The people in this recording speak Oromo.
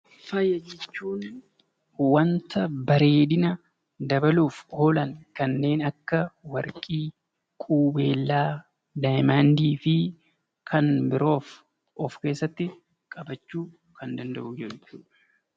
Faaya jechuun bareedinadabaluuf oolan kanneen akka warqee, qubeellaa, diyaamandii fi kan biroos of keessatti qabachuu danda'a.